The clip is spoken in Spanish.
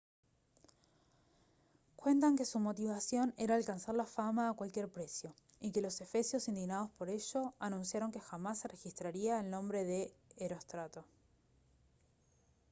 cuentan que su motivación era alcanzar la fama a cualquier precio y que los efesios indignados por ello anunciaron que jamás se registraría el nombre de herostrato